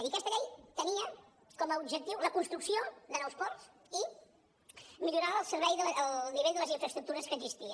i aquesta llei tenia com a objectiu la construcció de nous ports i millorar el nivell de les infraestructures que existien